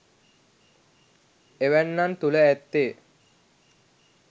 එවැන්නන් තුළ ඇත්තේ